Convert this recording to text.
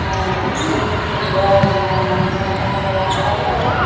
আঃ মূর্তিগুলো খুব সুন্দর আঃ সিংহাসন বানাইয়া রাখা হইসে।